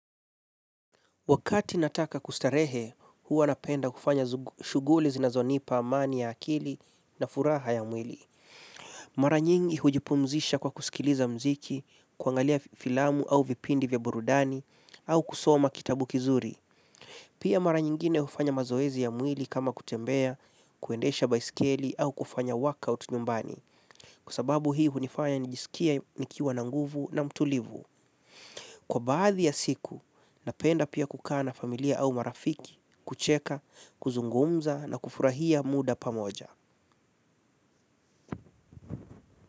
Wakati nataka kustarehe, huwa napenda kufanya shuguli zinazonipa amani ya akili na furaha ya mwili. Maranyingi hujipumzisha kwa kusikiliza mziki, kuangalia filamu au vipindi vya burudani, au kusoma kitabu kizuri. Pia maranyingine hufanya mazoezi ya mwili kama kutembea, kuendesha baiskeli au kufanya workout nyumbani. Kusababu hii hunifanya nijisikie nikiwa na nguvu na mtulivu. Kwa baadhi ya siku, napenda pia kukana familia au marafiki, kucheka, kuzungumza na kufurahia muda pamoja.